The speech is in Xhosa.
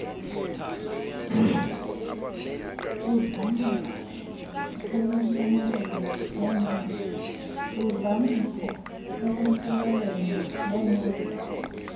ludlamko enempumelelo nemele